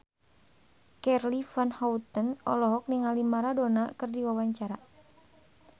Charly Van Houten olohok ningali Maradona keur diwawancara